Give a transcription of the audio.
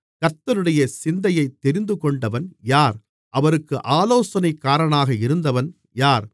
கர்த்தருடைய சிந்தையைத் தெரிந்துகொண்டவன் யார் அவருக்கு ஆலோசனைக்காரனாக இருந்தவன் யார்